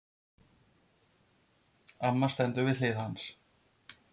Amma stendur við hlið hans.